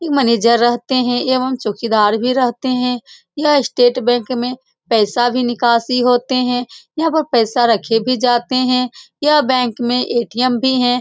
यहाँ मेनेजर भी रहते है एवं चौकीदार भी रहते है यह स्टेट बैंक में पैसा भी निकासी होती है यहाँ पर पैसे भी रखे जाते हैं यह बैंक में ए.टी.एम. भी है ।